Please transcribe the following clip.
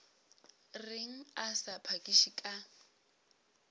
reng a sa phakiše ka